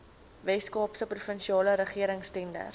weskaapse provinsiale regeringstenders